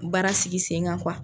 Baara sigi sen kan kuwa